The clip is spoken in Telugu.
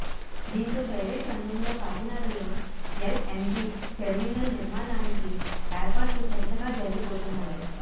దీంతో ప్రైవేట్ రంగంలో కాకినాడలో ఎల్ఎన్జి టెర్మినల్ నిర్మాణానికి ఏర్పాట్లు చకచకా జరిగిపోతున్నాయి